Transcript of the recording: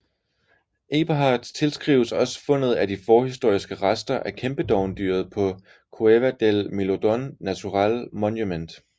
Eberhard tilskrives også fundet af de forhistoriske rester af kæmpedovendyret på Cueva del Milodon Natural Monument